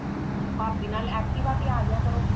ਭਾਭੀ ਨਾਲ active ਤੇ ਆ ਜਾ ਯਾ ਕਰੋ